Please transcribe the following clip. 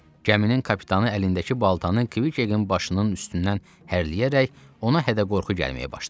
Gəminin kapitanı əlindəki baltanı Kk-in başının üstündən hərləyərək ona hədə-qorxu gəlməyə başlayır.